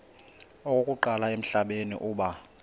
okokuqala emhlabeni uba